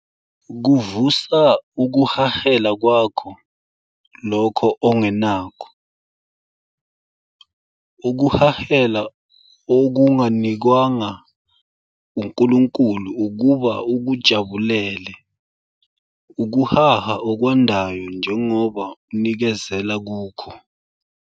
Kuvusa ukuhahela kwakho lokho ongenakho, ukuhahela okunganikwanga uNkulunkulu ukuba ukujabulele, ukuhaha okwandayo njengoba unikezela kukho.